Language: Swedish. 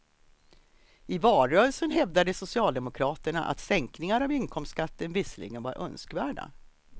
I valrörelsen hävdade socialdemokraterna att sänkningar av inkomstskatten visserligen var önskvärda.